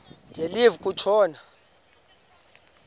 de live kutshona